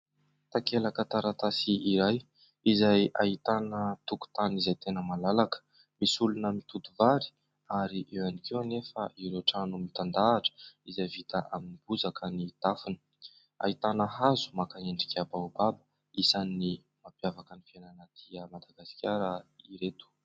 Takelaka taratasy iray, izay ahitana tokotany izay tena malalaka. Misy olona mitoto vary, ary eo ihany koa anefa ireo trano mitandahatra, izay vita amin'ny bozaka ny tafony. Ahitana hazo maka endrika baobaba, isan'ny mampiavaka ny fiainana aty Madagasikara ireto.